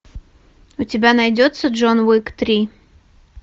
у тебя найдется джон уик три